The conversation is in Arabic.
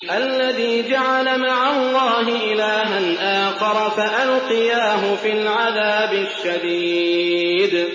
الَّذِي جَعَلَ مَعَ اللَّهِ إِلَٰهًا آخَرَ فَأَلْقِيَاهُ فِي الْعَذَابِ الشَّدِيدِ